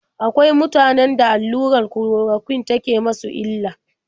Akwai mutanen da allurar kulorokwin take musu illa.